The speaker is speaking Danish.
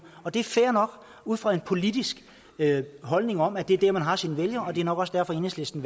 det er fair nok ud fra en politisk holdning om at det er der man har sine vælgere og det er nok også derfor enhedslisten